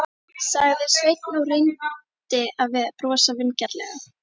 sagði Sveinn og reyndi að brosa vingjarnlega.